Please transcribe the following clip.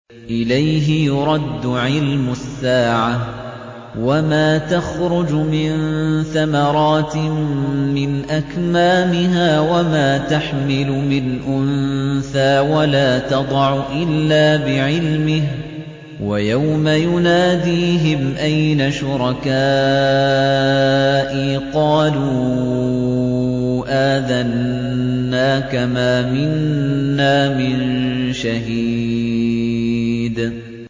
۞ إِلَيْهِ يُرَدُّ عِلْمُ السَّاعَةِ ۚ وَمَا تَخْرُجُ مِن ثَمَرَاتٍ مِّنْ أَكْمَامِهَا وَمَا تَحْمِلُ مِنْ أُنثَىٰ وَلَا تَضَعُ إِلَّا بِعِلْمِهِ ۚ وَيَوْمَ يُنَادِيهِمْ أَيْنَ شُرَكَائِي قَالُوا آذَنَّاكَ مَا مِنَّا مِن شَهِيدٍ